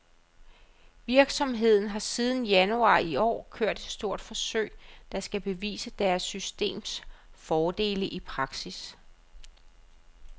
Virksomheden har siden januar i år kørt et stort forsøg, der skal bevise deres systems fordele i praksis.